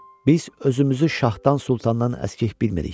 Biz özümüzü şahdan, sultandan əskik bilmirik.